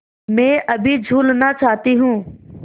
मैं अभी झूलना चाहती हूँ